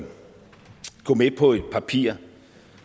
gå med på et papir